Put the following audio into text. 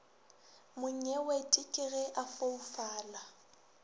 monyewete ke ge a foufala